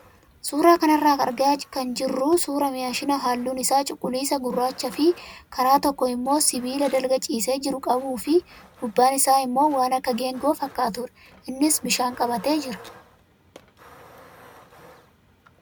Suuraa kanarraa kan argaa jirru suuraa maashina halluun isaa cuquliisa, gurraachaa fi karaa tokko immoo sibiila dalga ciisee jiru qabuu fi gubbaan isaa immoo waan akka geengoo fakkaatudha. Innis bishaan qabatee jira.